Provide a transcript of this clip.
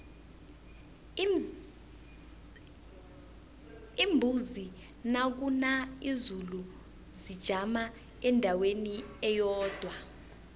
iimbuzi nakuna izulu zijama endaweni eyodwa